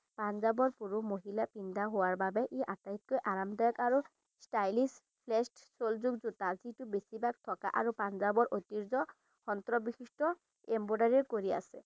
পাঞ্জাবৰ পুৰুষ মহিলাই পিন্ধা হোৱাৰ বাবে ই আটাইতকৈ আৰামদায়ক আৰু stylish shoelog জোতা যিটো বেছিভাগ থকা আৰু পাঞ্জাবৰ ঐতিহ্য অন্তৰ্বিষিষ্ট embroidery কৰি আছে।